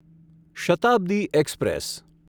Shatabdi express